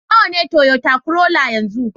Nawa ne Toyota Corolla yanzu